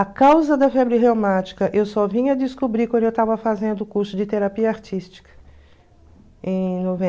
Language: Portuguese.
A causa da febre reumática eu só vinha a descobrir quando eu estava fazendo o curso de terapia artística, em